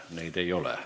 Neid ei ole.